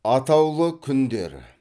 атаулы күндер